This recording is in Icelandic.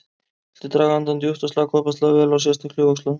Viltu draga andann djúpt og slaka ofboðslega vel á, sérstaklega í öxlunum.